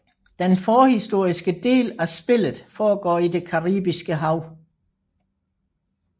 Den forhistoriske del af spillet foregår i det Caribiske Hav